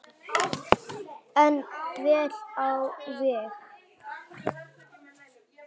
En vel á veg.